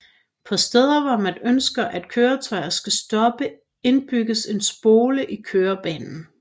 På steder hvor man ønsker at køretøjer skal stoppe indbygges en spole i kørebanen